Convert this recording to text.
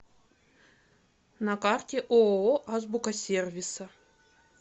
на карте ооо азбука сервиса